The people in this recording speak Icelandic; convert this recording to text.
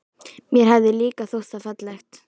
Mér hafði líka þótt það fallegt.